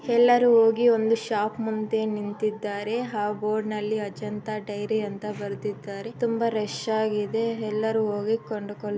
ಎಲ್ಲರೂ ಹೋಗಿ ಒಂದು ಶಾಪ್ ಮುಂದೆ ನಿಂತಿದ್ದಾರೆ ಆ ಬೋರ್ಡ್ ನಲ್ಲಿ ಅಜಂತ ಡೈರಿ ಅಂತ ಬರೆದಿದ್ದಾರೆ ತುಂಬ ರಶ್ ಆಗಿದೆ ಎಲ್ಲರೂ ಹೋಗಿ ಕೊಂಡುಕೊಳ್ಳು --